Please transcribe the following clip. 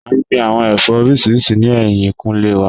A n gbin awọn ẹfọ oriṣiriṣi ni ẹhin kule wa.